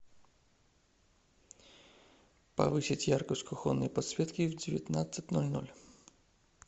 повысить яркость кухонной подсветки в девятнадцать ноль ноль